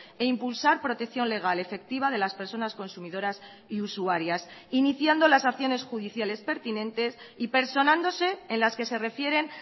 e impulsar protección legal efectiva de las personas consumidoras y usuarias iniciando las acciones judiciales pertinentes y personándose en las que se refieren